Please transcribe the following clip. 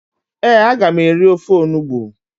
ee, a ga m eri ofe onugbu